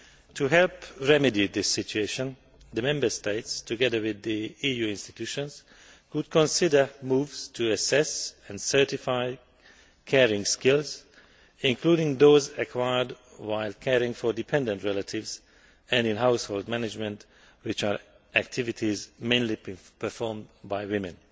To help remedy this situation, the Member States, together with the EU institutions, could consider moves to assess and certify caring skills, including those acquired while caring for dependent relatives, and in household management, which are activities mainly performed by women.